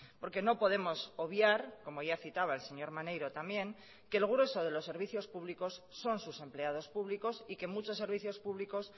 porque no podemos obviar como ya citaba el señor maneiro también que el grueso de los servicios públicos son sus empleados públicos y que muchos servicios públicos